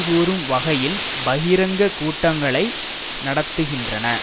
கூறும் வகையில் பகிரங்க கூட்டங்களை நடத்துகின்றன